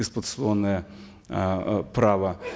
эксплуатационное э право